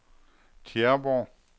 Tjæreborg